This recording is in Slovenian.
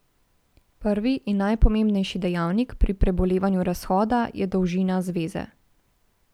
Prvi in najpomembnejši dejavnik pri prebolevanju razhoda je dolžina zveze.